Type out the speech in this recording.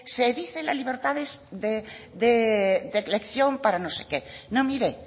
se dice la libertad de elección para no sé qué pues no mire